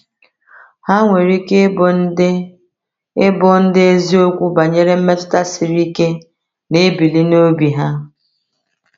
Ha nwere ike ịbụ ndị ịbụ ndị eziokwu banyere mmetụta siri ike na-ebili n’obi ha.